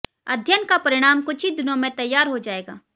अध्ययन का परिणाम कुछ ही दिनों में तैयार हो जाएगा